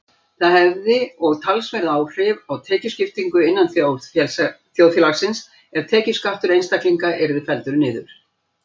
Það hefði og talsverð áhrif á tekjuskiptingu innan þjóðfélagsins ef tekjuskattur einstaklinga yrði felldur niður.